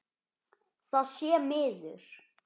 Það sé miður.